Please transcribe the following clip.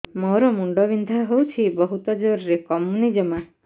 ମୋର ମୁଣ୍ଡ ବିନ୍ଧା ହଉଛି ବହୁତ ଜୋରରେ କମୁନି ଜମା